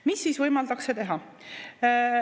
Mida siis võimaldatakse teha?